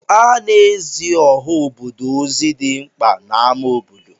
Ana-ezi ọha obodo ozi dị mkpa n'amá obodo.